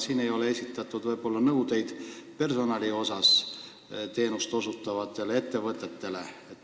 Siin ei ole esitatud nõudeid teenust osutavate ettevõtete personalile.